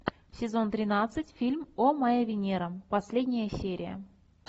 сезон тринадцать фильм о моя венера последняя серия